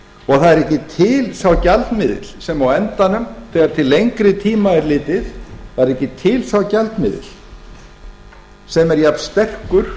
og það er ekki til sá gjaldmiðill sem á endanum þegar til lengri tíma er litið er jafnsterkur